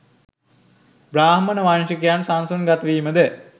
බ්‍රාහ්මණ වංශිකයන් සසුන්ගත වීමද